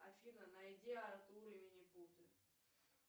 афина найди артур и лилипуты